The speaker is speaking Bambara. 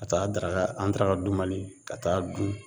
Ka taa daraka an daraka dunbali ka t'a dun